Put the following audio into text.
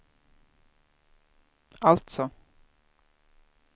alltså